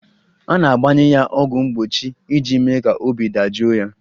A na-agbanye ya ọgwụ mgbochi iji mee ka obi dajụọ ya